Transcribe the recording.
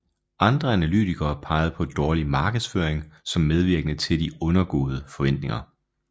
Andre analytikere pegede på dårlig markedsføring som medvirkende til de undergåede forventninger